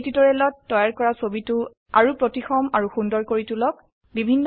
এই টিউটোৰিয়ালত তৈয়াৰ কৰা ছবিটো আৰো প্ৰতিসম আৰু সুন্দৰ কৰি তুলক